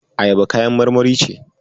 Ayaba kayan marmari ce.